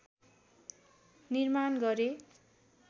निर्माण गरे